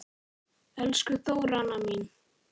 Elsku Þóranna mín.